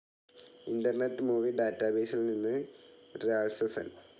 internet movie ഡാറ്റാബേസിൽ നിന്ന് രാത്സസൻ